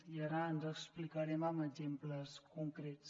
i ara ens explicarem amb exemples concrets